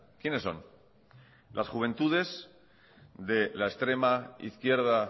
quiénes son las juventudes de la extrema izquierda